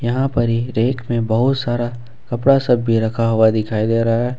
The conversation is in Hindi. यहां पर एक रैक में बहुत सारा कपड़ा सब भी रखा हुआ दिखाई दे रहा है।